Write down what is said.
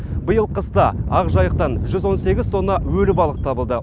биыл қыста ақжайықтан жүз он сегіз тонна өлі балық табылды